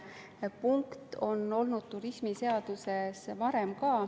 Samasugune punkt on varem olnud turismiseaduses ka.